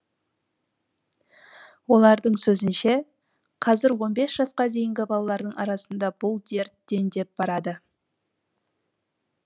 олардың сөзінше қазір он бес жасқа дейінгі балалардың арасында бұл дерт дендеп барады